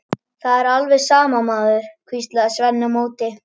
Það er alveg sama, maður, hvíslaði Svenni á móti.